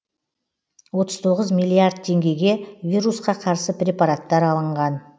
отыз тоғыз миллиард теңгеге вирусқа қарсы препараттар алынған